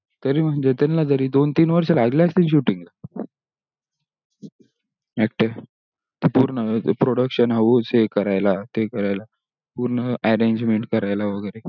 तरी म्हणजे त्यांना जारी दोन तीन वर्ष लागले असतील shooting ला पूर्ण ते production house हे करायला ते करायला पूर्ण arrangement करायला वगेरे